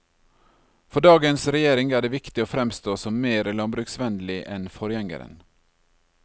For dagens regjering er det viktig å fremstå som mer landbruksvennlig enn forgjengeren.